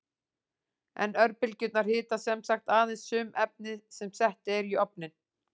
En örbylgjurnar hita sem sagt aðeins sum efni sem sett eru í ofninn.